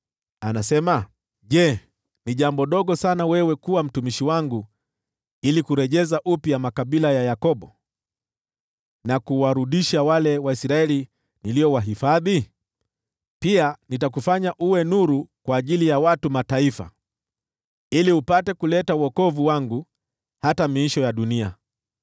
yeye asema: “Je, ni jambo dogo sana wewe kuwa mtumishi wangu ili kurejeza makabila ya Yakobo, na kuwarudisha wale Waisraeli niliowahifadhi? Pia nitakufanya uwe nuru kwa ajili ya watu wa Mataifa, ili upate kuleta wokovu wangu hata miisho ya dunia.”